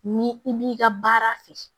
Ni i b'i ka baara fɛ